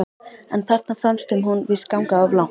En þarna fannst þeim hún víst ganga of langt.